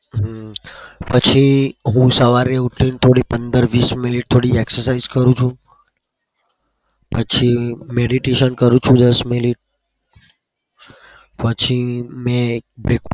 હમ પછી હું સવારે ઉઠીને થોડી પંદર વીસ minute થોડી exercise કરું છું. પછી meditation કરું છું દસ minute. પછી મેં